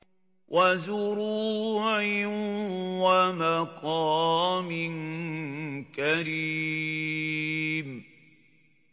وَزُرُوعٍ وَمَقَامٍ كَرِيمٍ